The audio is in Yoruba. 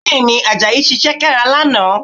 Bẹ́ẹ̀, Àjàyí ṣiṣẹ́ kára lánàá